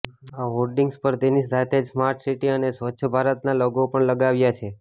આ હોર્ડિંગ્સ પર તેની સાથે જ સ્માર્ટસિટી અને સ્વચ્છ ભારતના લોગો પણ લગાવ્યા છે